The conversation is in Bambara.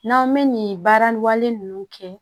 N'an bɛ nin baara ninnu kɛ